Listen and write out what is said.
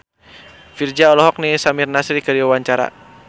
Virzha olohok ningali Samir Nasri keur diwawancara